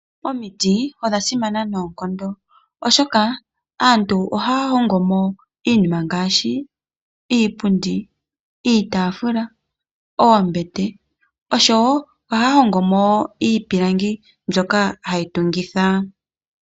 Omiti odha simana noonkondo oshoka aantu ohaa hongo mo iinima ngaashi oombete, iipundi ,iitafula oshowo ohaya hongo mo wo iipilangi mbyoka hayi tungitha .